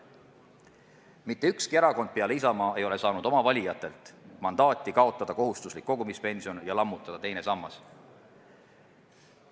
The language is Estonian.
" Mitte ükski erakond peale Isamaa ei ole saanud oma valijatelt mandaati kaotada kohustuslik kogumispension ja lammutada teine sammas.